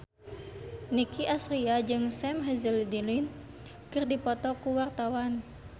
Nicky Astria jeung Sam Hazeldine keur dipoto ku wartawan